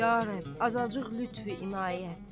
Ya Rəbb, azacıq lütfü inayət.